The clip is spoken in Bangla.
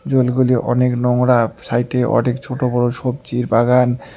জলগুলি অনেক নোংরা সাইটে অনেক ছোট বড় সব্জীর বাগান।